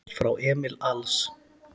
Frá Emil Als